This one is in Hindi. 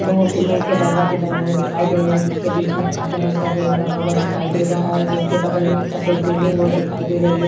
दो सीमेंट के दरवाजे बने हुए दिखाई दे रहे हैं जिसके बीच में काले रंग का गेट लगा हुआ दिखाई दे रहा है गेट के बगल में एक सफेद बिल्डिंग वो दिखाई दे रही है।